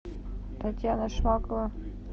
татьяна шмакова